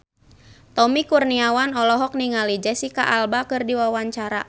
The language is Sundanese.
Tommy Kurniawan olohok ningali Jesicca Alba keur diwawancara